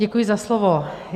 Děkuji za slovo.